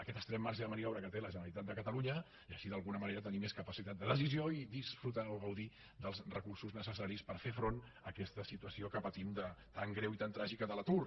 aquest estret marge de maniobra que té la generalitat de catalunya i així d’alguna manera tenir més capacitat de decisió i gaudir dels recursos necessaris per fer front a aquesta situació que patim tan greu i tan tràgica de l’atur